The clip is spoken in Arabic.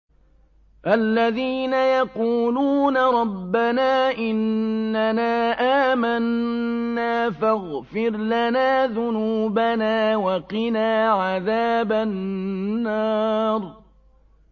الَّذِينَ يَقُولُونَ رَبَّنَا إِنَّنَا آمَنَّا فَاغْفِرْ لَنَا ذُنُوبَنَا وَقِنَا عَذَابَ النَّارِ